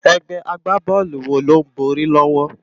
Égbè ágbábòlú wó ló n bòri lòwò?